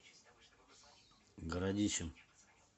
городищем